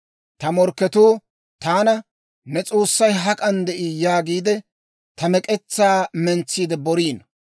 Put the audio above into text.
Ta morkketuu taana, «Ne S'oossay hak'an de'ii?» yaagiide, ta mek'etsaa mentsiide boriino.